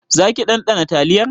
Zaki ɗanɗana taliyar?